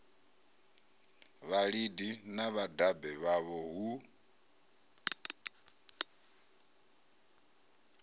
vhalidi na vhadabe vhavho hu